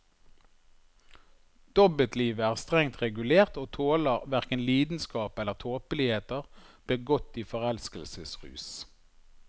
Dobbeltlivet er strengt regulert, og tåler hverken lidenskap eller tåpeligheter begått i forelskelsesrus.